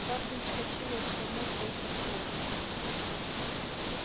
хардин вскочил и отшвырнул кресло в сторону